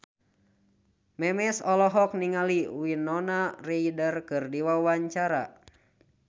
Memes olohok ningali Winona Ryder keur diwawancara